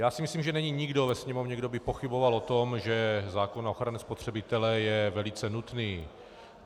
Já si myslím, že není nikdo ve Sněmovně, kdo by pochyboval o tom, že zákon na ochranu spotřebitele je velice nutný.